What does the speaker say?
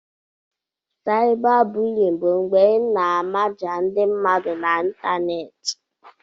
Cybabully bụ mgbe ị na-amaja ndi mmadu n'ịntanetị.